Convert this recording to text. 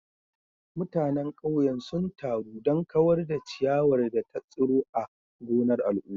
Mutanen ƙauyen sun taru don kawar da ciyawar da ta tsiro a gonar al'umma.